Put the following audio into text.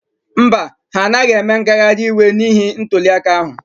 Mba, ha anaghị eme ngagharị iwe n'ihi ntuliaka ahụ.